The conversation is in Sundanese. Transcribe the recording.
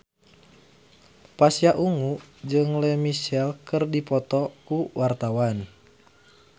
Pasha Ungu jeung Lea Michele keur dipoto ku wartawan